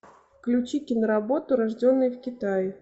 включи киноработу рожденный в китае